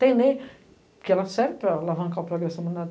Tem lei que serve para alavancar o progresso da humanidade.